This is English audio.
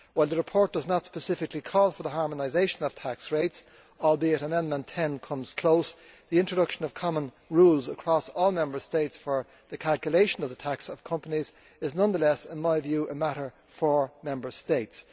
While the report does not specifically call for the harmonisation of tax rates although Amendment 10 comes close the introduction of common rules across all Member States for the calculation of the tax of companies is nonetheless a matter for Member States.